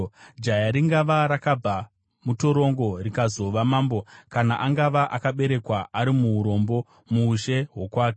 Jaya ringava rakabva mutorongo rikazova mambo, kana angava akaberekwa ari muurombo, muushe hwokwake.